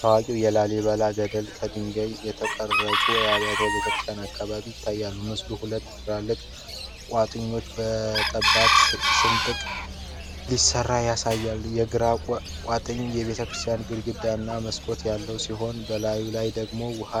ታዋቂው የላሊበላ ገደልና ከድንጋይ የተቀረጹ አብያተ ክርስቲያናት አካባቢ ይታያል። ምስሉ ሁለት ትላልቅ ቋጥኞች በጠባብ ስንጥቅ ሲለያዩ ያሳያል። የግራው ቋጥኝ የቤተክርስቲያን ግድግዳና መስኮት ያለው ሲሆን፣ በላዩ ላይ ደግሞ የውሃ